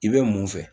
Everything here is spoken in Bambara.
I bɛ mun fɛ